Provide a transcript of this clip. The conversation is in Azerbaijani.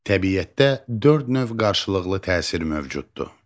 Təbiətdə dörd növ qarşılıqlı təsir mövcuddur.